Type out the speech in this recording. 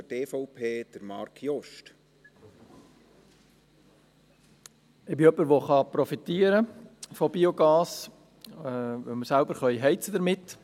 Ich bin jemand, der von Biogas profitieren kann, weil wir selbst damit heizen können.